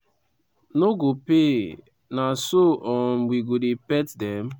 no go pay na so um we go dey pet dem?